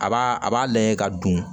A b'a a b'a lajɛ ka don